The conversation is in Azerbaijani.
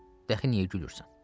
Dəxi niyə gülürsən?